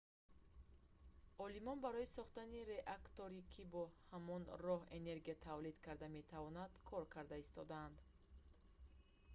олимон барои сохтани реакторе ки бо ҳамон роҳ энергия тавлид карда метавонад кор карда истодаанд